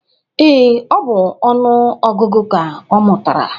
Ee, ọ bụ ọnụ ọgụgụ ka ọ mụtara